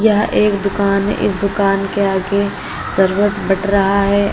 यह एक दुकान है इस दुकान के आगे सरवत बट रहा है।